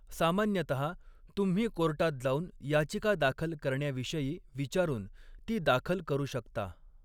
सामान्यतः, तुम्ही कोर्टात जाऊन याचिका दाखल करण्याविषयी विचारून ती दाखल करू शकता.